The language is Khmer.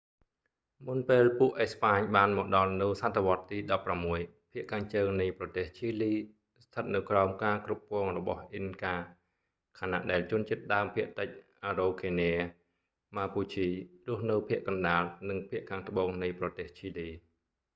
មុនពេលពួកអេស្ប៉ាញបានមកដល់នៅសតវត្សរ៍ទី 16 ភាគខាងជើងនៃប្រទេសឈីលីស្ថិតនៅក្រោមការគ្រប់គ្រងរបស់អ៊ីនកា ខណៈដែលជនជាតិដើមភាគតិច អារ៉ូខេនា ម៉ាពូឈី រស់នៅភាគកណ្តាល និងខាងត្បូងនៃប្រទេសឈីលី